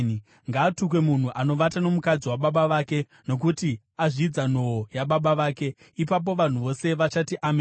“Ngaatukwe munhu anovata nomukadzi wababa vake, nokuti azvidza nhoo yababa vake.” Ipapo vanhu vose vachati, “Ameni!”